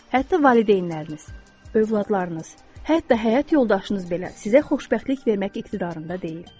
Hətta valideynləriniz, övladlarınız, hətta həyat yoldaşınız belə sizə xoşbəxtlik vermək iqtidarında deyil.